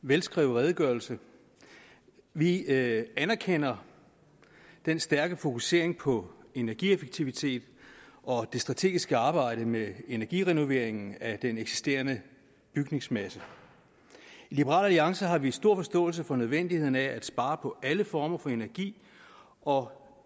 velskrevet redegørelse vi anerkender den stærke fokusering på energieffektivitet og det strategiske arbejde med energirenovering af den eksisterende bygningsmasse i liberal alliance har vi stor forståelse for nødvendigheden af at spare på alle former for energi og